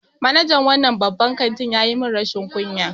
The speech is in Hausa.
Manajan wannan babban kanti ya yi min rashin kunya.